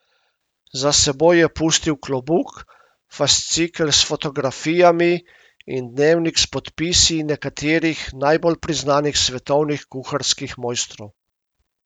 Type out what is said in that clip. Za seboj je pustil klobuk, fascikel s fotografijami in dnevnik s podpisi nekaterih najbolj priznanih svetovnih kuharskih mojstrov.